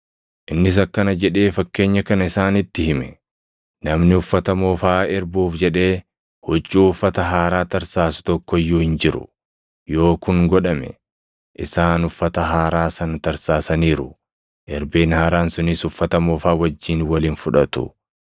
Innis akkana jedhee fakkeenya kana isaanitti hime; “Namni uffata moofaa erbuuf jedhee huccuu uffata haaraa tarsaasu tokko iyyuu hin jiru. Yoo kun godhame, isaan uffata haaraa sana tarsaasaniiru; erbeen haaraan sunis uffata moofaa wajjin wal hin fudhatu.